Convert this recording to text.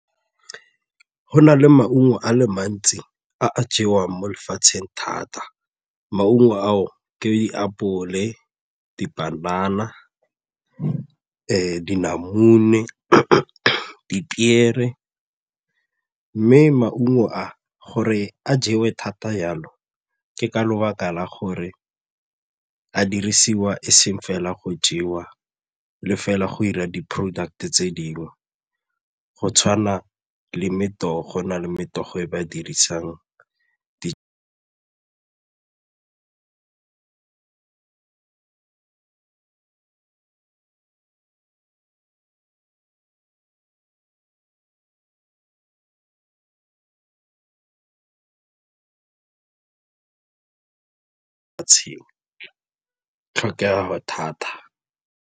Go na le maungo a le mantsi a a jewang mo lefatsheng thata. Maungo ao ke diapole, dipanana, dinamune, dipiere mme maungo a gore a jewe thata jalo ke ka lebaka la gore a dirisiwa e seng fela go jewa le fela go 'ira di-product-e tse dingwe go tshwana le go na le e ba dirisang ka tshenyo, tlhokego thata.